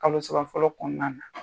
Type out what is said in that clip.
Kalo saba fɔlɔ kɔnɔna na.